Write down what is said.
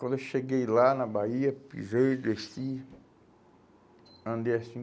Quando eu cheguei lá na Bahia, pisei, desci, andei assim.